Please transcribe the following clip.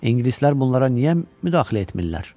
İngilislər bunlara niyə müdaxilə etmirlər?